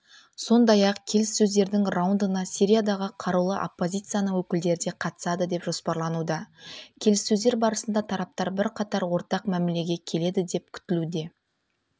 сондай-ақ келіссөздердің раундына сириядағы қарулы оппозицияның өкілдері де қатысады деп жоспарлануда келіссөздер барысында тараптар бірқатар ортақ мәмілеге келеді деп күтілуде